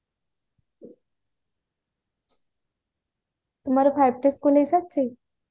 ତମର five T school ରେ ସରିଛି